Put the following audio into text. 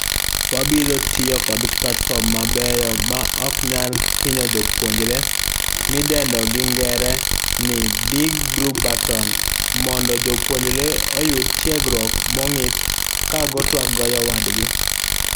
Wabiro tiyo kod platfom mabeyo maok nyal hinyo jopuonjre midendo gi ngere ni'' Big Blue Button'' mondojopuonjre oyud tiegruok mong'ith ka gotuak gojowadgi.